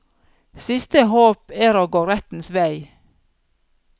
Siste håp er å gå rettens vei.